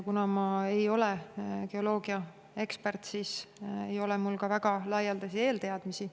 Kuna ma ei ole geoloogiaekspert, siis ei ole mul väga laialdasi eelteadmisi.